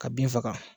Ka bin faga